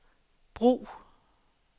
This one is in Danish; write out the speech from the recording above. brug